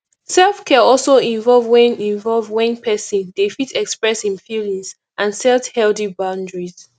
self care also involve when involve when person dey fit express im feelings and set healthy boundaries